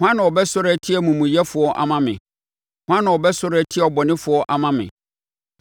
Hwan na ɔbɛsɔre atia amumuyɛfoɔ ama me? Hwan na ɔbɛsɔre atia abɔnefoɔ ama me?